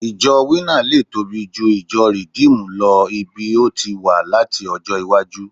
ijo winner lè tobi ju ìjọ redeemed lo lbi o ti wa lati ọjọ iwaju